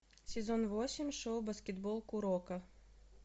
сезон восемь шоу баскетбол куроко